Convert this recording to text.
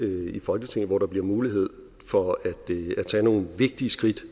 her i folketinget hvor der bliver mulighed for at tage nogle vigtige skridt